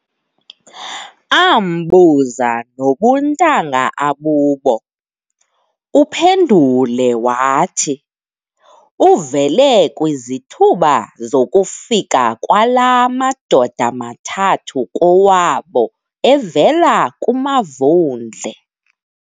Aambuza nobuntanga abubo, uphendule wathi, uvele kwizithuba zokufika kwalaa madoda mathathu kowabo evela kumaVundle.